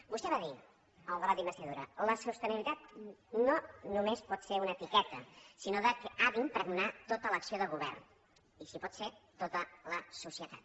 vostè va dir en el debat d’investidura la sostenibilitat no només pot ser una etiqueta sinó que ha d’impregnar tota l’acció de govern i si pot ser tota la societat